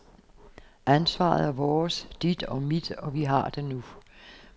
Ansvaret er vores, dit og mit, og vi har det nu.